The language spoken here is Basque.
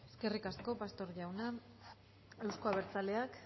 eskerrik asko pastor jauna euzko abertzaleak